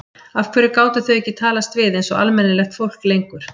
Af hverju gátu þau ekki talast við einsog almennilegt fólk lengur?